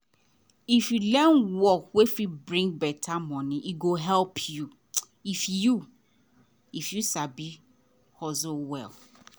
if you learn work wey fit bring better money e go help you if you if you sabi hustle well.